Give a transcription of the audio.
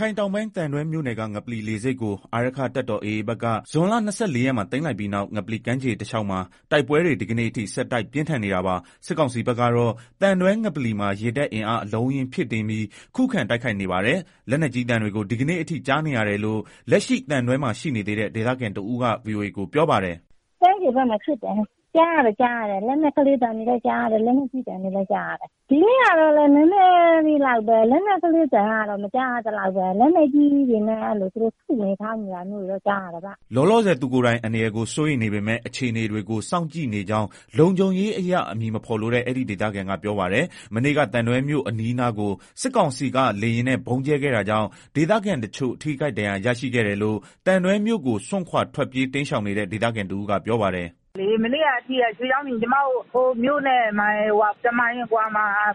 ခိုင်တောင်ပိုင်း သံတွဲမြို့နယ်က ငပလီလေဆိပ်ကို အာရက္ခတပ်တော် AAဘက်က ဇွန်လ (၂၄) ရက်မှာ သိမ်း လိုက်ပြီးနောက် ငပလီကမ်းခြေတလျောက်မှာ တိုက်ပွဲတွေ ဒီကနေ့အထိ ဆက်တိုက်ပြင်း ထန်နေတာပါ။ စစ်ကောင်စီဘက်ကတော့ သံတွဲငပလီမှာ ရေတပ်အင်အားအလုံး အရင်းဖြည့်တင်းပြီး ခုခံတိုက်ခိုက်နေပါတယ်။ လက်နက်ကြီးသံတွေကို ဒီကနေ့အထိ ကြားနေရတယ်လို့ လက်ရှိသံတွဲမှာ ရှိနေသေးတဲ့ ဒေသခံတဦးက ဗွီအိုအေကို ပြောပါတယ်။ “ ကမ်းခြေဘက်မှာ ဖြစ်နေတယ် အသံတွေကြားရတယ်၊ လက်နက်ကလေး သံတွေ လည်းကြားရတယ် လက်နက်ကြီးသံတွေလည်းကြားရတယ်၊ ဒီနေ့ကတော့ လက်နက်ကလေးသံ သိပ်မကြားရဘူး လက်နက်ကြီးတွေနဲ့ ထုနေ ထောင်းနေသံတွေတော့ ကြား ရတယ်။” လောလောဆယ် သူကိုယ်တိုင် အန္တရာယ်ကို စိုးရိမ်နေပေမဲ့ အခြေအနေတွေကို စောင့်ကြည့်နေကြောင်း လုံခြုံရေးအရ အမည်မဖေါ်လိုတဲ့ အဲဒီ ဒေသခံက ပြောပါတယ်။ မနေ့က သံတွဲမြို့အနီးအနားကို စစ်ကောင်စီက လေယာဉ်နဲ့ ဗုံးကြဲခဲ့တာကြောင့် ဒေသခံတချို့ ထိခိုက်ဒဏ်ရာရတာရှိတယ်လို့ သံတွဲမြို့ကိုစွန့်ခွာ ထွက်ပြေးတိမ်းရှောင်နေတဲ့ ဒေသခံတဦးကပြောပါတယ်။ “ မနေ့က အထိကလေ ကျမတို့ မြို့နဲ့ တမိုင်အကွာလောက်မှာရှိတဲ့